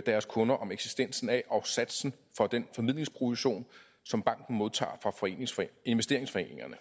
deres kunder om eksistensen af og satsen for den formidlingsprovision som banken modtager fra investeringsforeningerne